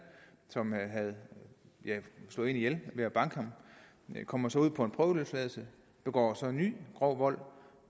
som havde slået en ihjel ved at banke ham han kommer så ud på en prøveløsladelse begår ny grov vold